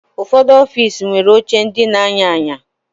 Ụfọdụ ọfiisi nwere oche ndị na-anya anya